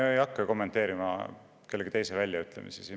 Ma ei hakka kommenteerima kellegi teise väljaütlemisi.